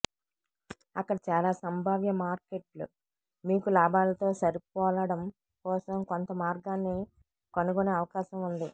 అక్కడ చాలా సంభావ్య మార్కెట్లు మీకు లాభాలతో సరిపోలడం కోసం కొంత మార్గాన్ని కనుగొనే అవకాశం ఉంది